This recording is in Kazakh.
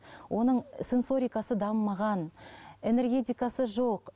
оның сенсорикасы дамымаған энергетикасы жоқ